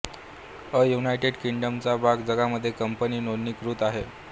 अ United किंगडमचा भाग ज्यामध्ये कंपनी नोंदणीकृत आहे